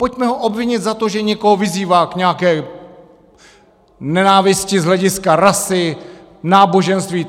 Pojďme ho obvinit za to, že někoho vyzývá k nějaké nenávisti z hlediska rasy, náboženství.